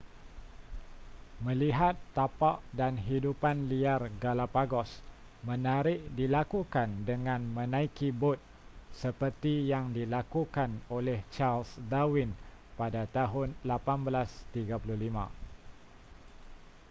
melihat tapak dan hidupan liar galapagos menarik dilakukan dengan menaiki bot seperti yang dilakukan oleh charles darwin pada tahun 1835